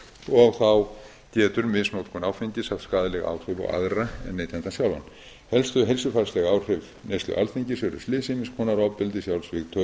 og þá getur misnotkun áfengis haft skaðleg áhrif á aðra en neytandann sjálfan helstu heilsufarsleg áhrif neyslu alþingis eru slys ýmiss konar ofbeldi sjálfsvíg tauga